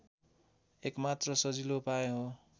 एकमात्र सजिलो उपाय हो